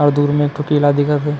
अउ दूर में एक ठो केला दिखा थे।